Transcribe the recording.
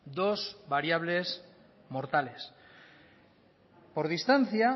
dos variables mortales por distancia